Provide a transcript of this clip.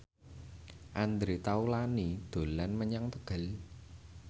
Andre Taulany dolan menyang Tegal